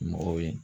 Mɔgɔw ye